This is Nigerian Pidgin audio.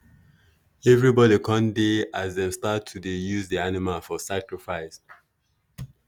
everybody con dey as dem start to dey use the animal for sacrifice.